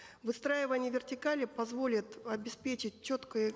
выстраивание вертикали позволит обеспечить четкое